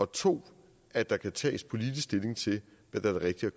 to at der kan tages politisk stilling til hvad der er det rigtige